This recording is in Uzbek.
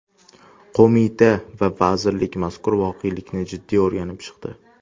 Qo‘mita va vazirlik mazkur voqelikni jiddiy o‘rganib chiqdi.